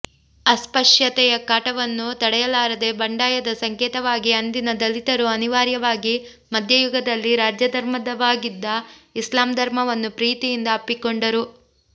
ಅಸ್ಪಶ್ಯತೆಯ ಕಾಟವನ್ನು ತಡೆಯಲಾರದೆ ಬಂಡಾಯದ ಸಂಕೇತವಾಗಿ ಅಂದಿನ ದಲಿತರು ಅನಿವಾರ್ಯವಾಗಿ ಮಧ್ಯಯುಗದಲ್ಲಿ ರಾಜ್ಯಧರ್ಮವಾಗಿದ್ದ ಇಸ್ಲಾಂ ಧರ್ಮವನ್ನು ಪ್ರೀತಿಯಿಂದ ಅಪ್ಪಿಕೊಂಡರು